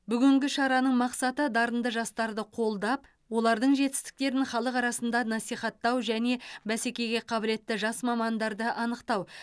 бүгінгі шараның мақсаты дарынды жастарды қолдап олардың жетістіктерін халық арасында насихаттау және бәскеге қабілетті жас мамандарды анықтау